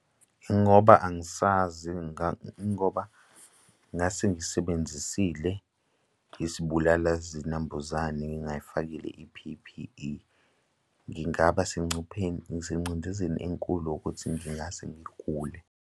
Ingoba angisazi ingoba ngase ngisebenzisile isibulala zinambuzane ngingayifakile i-P_P_E. Ngingaba sengcupheni, nasengcindezeni enkulu ukuthi ngingase ngigule.